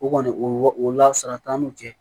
O kɔni o la sara t'an n'u cɛ